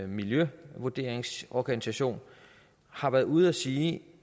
miljøvurderingsorganisation har været ude at sige